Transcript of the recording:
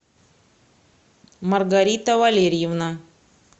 маргарита валерьевна